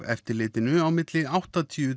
eftirlitinu á milli áttatíu